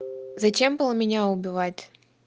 зачем было меня убивать